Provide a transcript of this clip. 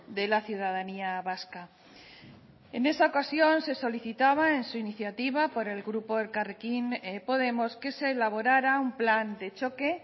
de la ciudadanía vasca en esa ocasión se solicitaba en su iniciativa por el grupo elkarrekin podemos que se elaborara un plan de choque